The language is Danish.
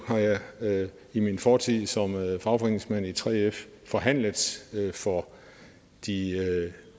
har jeg i min fortid som fagforeningsmand i 3f forhandlet for de